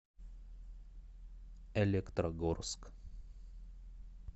электрогорск